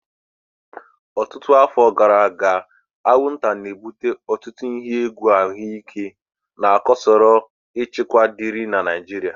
Ọtụtụ afọ gara aga, anwụnta na-ebute ọtụtụ ihe egwu ahụike na chọrọ usoro nchịkwa dị irè na Naijiria.